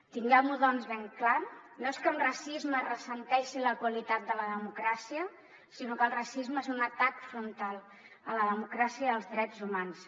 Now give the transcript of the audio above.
tinguem ho doncs ben clar no és que amb racisme es ressenti la qualitat de la democràcia sinó que el racisme és un atac frontal a la democràcia i als drets humans